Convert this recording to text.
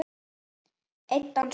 Einn dans við mig